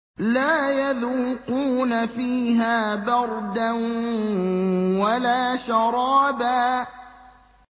لَّا يَذُوقُونَ فِيهَا بَرْدًا وَلَا شَرَابًا